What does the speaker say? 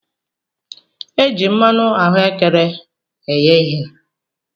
E ji mmanụ ahuekere eghe ihe.